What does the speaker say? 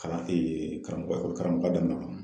Kalan karamɔgɔ ekɔli karamɔgoya daminɛ